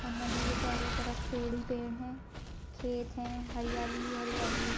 और नदी के चारो तरफ पेड़ ही पेड़ है खेत है हरियाली ही हरियाली है।